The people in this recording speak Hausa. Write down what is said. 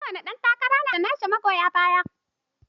Kowane ɗan takara na da nashi magoya baya.